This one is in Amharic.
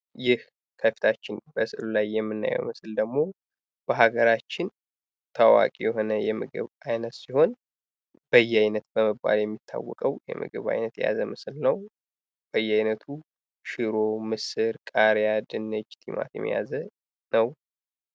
ይህ ከፊታችን በስዕሉ ላይ የምናየው ምስል ደግሞ በሀገራችን ታዋቂ የሆነ የምግብ አይነት ሲሆን በየአይነት በመባል የሚታወቀው የምግብ አይነት የያዘ ምስል ነው። በየአይነቱ ሽሮ፣ ምስር፣ ቃሪያ፣ ድንች፣ ቲማቲም የያዘ ነው።